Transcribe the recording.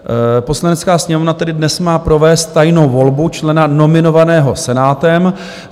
Poslanecká sněmovna tedy dnes má provést tajnou volbu člena nominovaného Senátem.